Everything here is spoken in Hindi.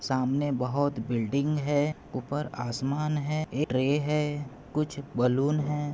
सामने बहुत बिल्डिंग है ऊपर आसमान है एक ट्रे है कुछ बलून है।